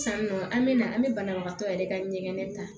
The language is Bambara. Sisannɔɔ an bɛ na an bɛ banabagatɔ yɛrɛ ka ɲɛgɛn ta